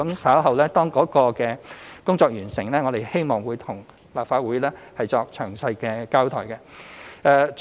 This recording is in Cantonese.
稍後當工作完成後，我們希望向立法會作詳細交代。